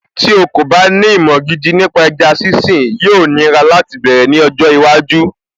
Tí o kò bá ní ìmọ̀ gidi nípa ẹja sínsìn, yóò nira láti bẹ̀rẹ̀ ní ọjọ́ iwájú